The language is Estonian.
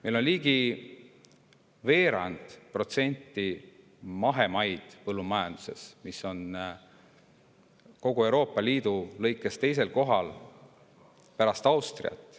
Meil on põllumajanduses ligi veerand mahemaa, mis on kogu Euroopa Liidus teisel kohal pärast Austriat.